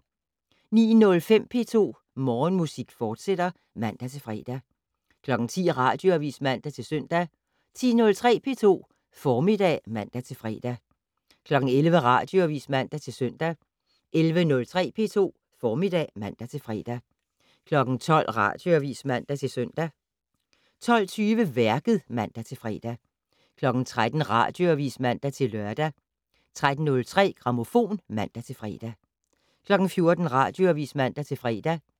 09:05: P2 Morgenmusik, fortsat (man-fre) 10:00: Radioavis (man-søn) 10:03: P2 Formiddag (man-fre) 11:00: Radioavis (man-søn) 11:03: P2 Formiddag (man-fre) 12:00: Radioavis (man-søn) 12:20: Værket (man-fre) 13:00: Radioavis (man-lør) 13:03: Grammofon (man-fre) 14:00: Radioavis (man-fre)